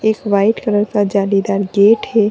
एक white colour का जालीदार गेट है।